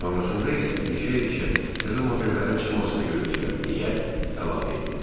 Sonrasında isə irişə-irişə təzə modellərin çıxmasını gözləyirəm deyə əlavə etdi.